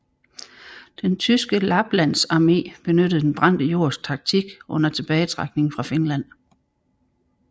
Den tyske lapplandsarmé benyttede den brændte jords taktik under tilbagetrækningen fra Finland